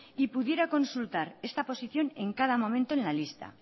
y pudiera consultar esta posición en cada momento en la lista